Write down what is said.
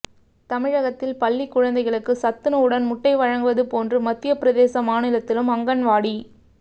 தமிழகத்தில் பள்ளி குழந்தைகளுக்கு சத்துணவுடன் முட்டை வழங்குவது போன்று மத்திய பிரதேச மாநிலத்திலும் அங்கன்வாடி